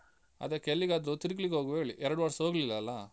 ಅದ್ಕಕೆ ಎಲ್ಲಿಗಾದ್ರೂ ತಿರ್ಗ್ಲಿಕ್ಕೆ ಹೋಗ್ವಾ ಹೇಳಿ. ಎರಡು ವರ್ಷ ಹೋಗ್ಲಿಲ್ಲ ಅಲ್ಲಾ?